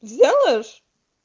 сделаешь